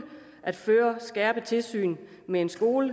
at føre skærpet tilsyn med en skole